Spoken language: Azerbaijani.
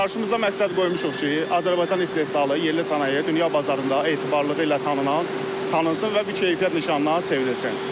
Qarşımızda məqsəd qoymuşuq ki, Azərbaycan istehsalı, yerli sənaye dünya bazarında etibarlığı ilə tanınsın və bir keyfiyyət nişanına çevrilsin.